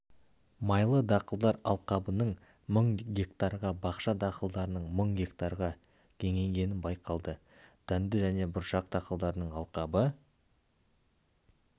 майлы дақылдар алқабының мың гектарға бақша дақылдарының мың гектарға кеңейгені байқалды дәнді және бұршақты дақылдардың алқабы